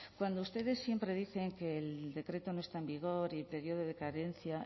cuando ustedes siempre dicen que el decreto no está en vigor y periodo de cadencia